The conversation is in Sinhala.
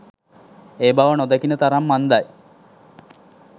ඒ බව නොදකින තරම් අන්ධයි.